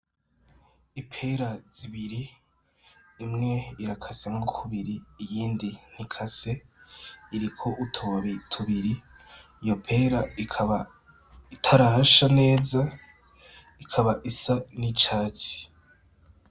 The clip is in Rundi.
Ipera zibiri, imwe irakasemwo kubiri, iyindi ntikase iriko utubabi tubiri, iyo pera ikaba itarasha neza, ikaba isa n'icatsi.